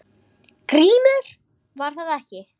GRÍMUR: Var það ekki!